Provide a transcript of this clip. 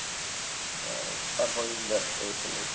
আর তার পরেরদিন back করে চলে এসছি